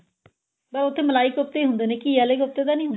ਬੱਸ ਉੱਥੇ ਮਲਾਈ ਕੋਫਤੇ ਈ ਹੁੰਦੇ ਨੇ ਘੀਏ ਵਾਲੇ ਤੇ ਨਿ ਹੁੰਦੇ